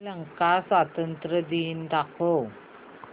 श्रीलंका स्वातंत्र्य दिन दाखव